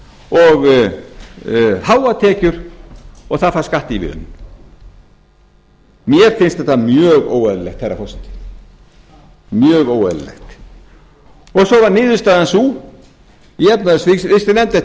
og miklar tekjur og það fær skattaívilnanir mér finnst þetta mjög óeðlilegt herra forseti mjög óeðlilegt og svo var niðurstaðan sú eftir